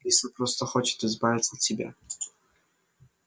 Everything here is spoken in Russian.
лиса просто хочет избавиться от тебя